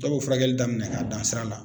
Dɔw bɛ furakɛli daminɛ k'a dan sira la.